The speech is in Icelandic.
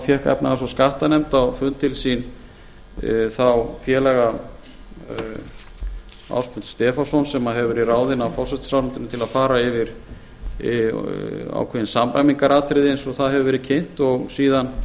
fékk efnahags og skattanefnd á fund til sín þá félaga ásmund stefánsson sem hefur verið ráðinn af forsætisráðuneytinu til að fara yfir ákveðin samræmingaratriði eins og það hefur verið kynnt og síðan